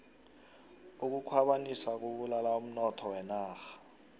ukukhwabanisa kubulala umnotho wenarha